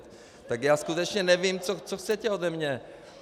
Tak já skutečně nevím, co chcete ode mě.